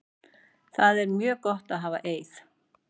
Það er mjög gott að hafa Eið.